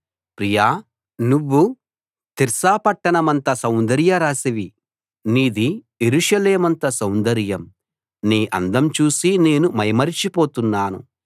ప్రియా నువ్వు తిర్సా పట్టణమంత సౌందర్య రాశివి నీది యెరూషలేమంత సౌందర్యం నీ అందం చూసి నేను మైమరచి పోతున్నాను